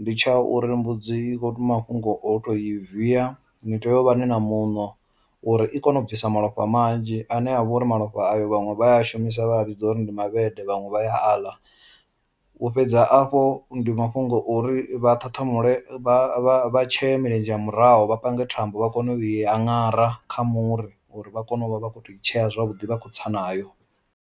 ndi tsha uri mbudzi i kho to mafhungo o to i viya, ni tea u vha ni na muṋo uri i kone u bvisa malofha manzhi ane a vhori malofha ayo vhaṅwe vha ya a shumisa vha vhidza uri ndi mavhede vhaṅwe vha ya a ḽa. U fhedza afho ndi mafhungo ori vha ṱhaṱhamule vha tshee milenzhe ya murahu vha pange thambo vha kone u i aṅara kha muri uri vha kone u vha vha kho to i tshea zwavhuḓi vha kho tsa nayo.